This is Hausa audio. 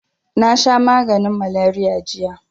Nasha maganin maleriya jiya